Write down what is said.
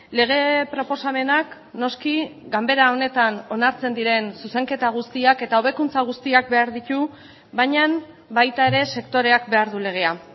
lege proposamenak noski ganbera honetan onartzen diren zuzenketa guztiak eta hobekuntza guztiak behar ditu baina baita ere sektoreak behar du legea